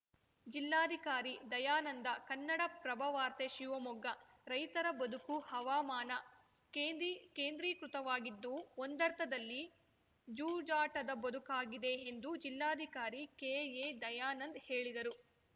ಜಿಲ್ಲಾಧಿಕಾರಿ ದಯಾನಂದ ಕನ್ನಡಪ್ರಭವಾರ್ತೆ ಶಿವಮೊಗ್ಗ ರೈತರ ಬದುಕು ಹವಾಮಾನ ಕೇಂದ್ರೀ ಕೇಂದ್ರೀಕೃತವಾಗಿದ್ದು ಒಂದರ್ಥದಲ್ಲಿ ಜೂಜಾಟದ ಬದುಕಾಗಿದೆ ಎಂದು ಜಿಲ್ಲಾಧಿಕಾರಿ ಕೆಎ ದಯಾನಂದ್‌ ಹೇಳಿದರು